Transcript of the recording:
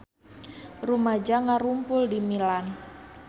Rumaja ngarumpul di Milan